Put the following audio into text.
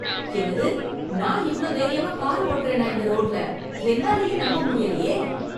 என்னது! நான் இவ்ளோ தைரியமா கார் ஓட்டுறேனா இந்த ரோட்ல என்னாலயே நம்ப முடியலையே!